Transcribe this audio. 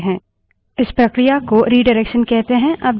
हम इन 3 streams को अन्य फाइलों से जोड़ सकते हैं